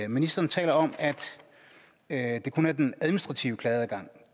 ministeren taler om at det kun er den administrative klageadgang